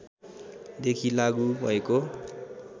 देखि लागू भएको